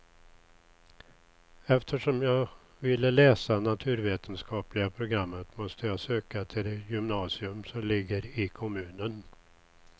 Eftersom jag ville läsa naturvetenskapliga programmet måste jag söka till det gymnasium som ligger i kommunen.